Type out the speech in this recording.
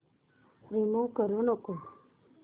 remove करू नको